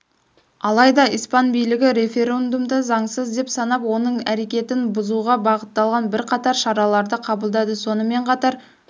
алайда испан билігі референдумды заңсыз деп санап оның әрекетін бұзуға бағытталған бірқатар шараларды қабылдады сонымен қатар